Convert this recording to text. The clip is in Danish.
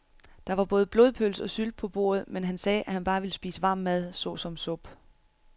Der var både blodpølse og sylte på bordet, men han sagde, at han bare ville spise varm mad såsom suppe.